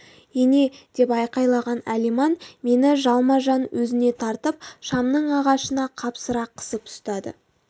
ене деп айқайлаған алиман мені жалма-жан өзіне тартып шамның ағашына қапсыра қысып ұстады